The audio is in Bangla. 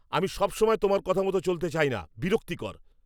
আমি সবসময় তোমার কথা মতো চলতে চাই না। বিরক্তিকর।